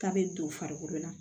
K'a bɛ don farikolo la